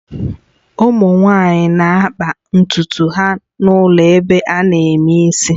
Ụmụ nwanyị na-akpa ntutu ha n'ụlọ ebe ana eme isi